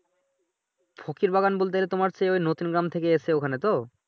ফকির বাবান বলতে তোমার যে ওই নতুন গ্রাম থেকে এসছে ওখানে তো।